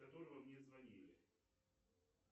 с которого мне звонили